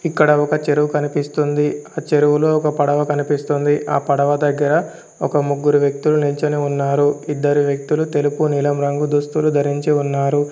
ఇక్కడ ఒక చెరువు కనిపిస్తుంది ఆ చెరువులో ఒక పడవ కనిపిస్తుంది ఆ పడవ దగ్గర ఒక ముగ్గురు వ్యక్తులు నిల్చోని ఉన్నారు ఇద్దరి వ్యక్తులు తెలుపు నీలం రంగు దుస్తులు ధరించి ఉన్నారు.